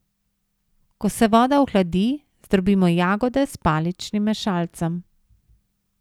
Ko se voda ohladi, zdrobimo jagode s paličnim mešalcem.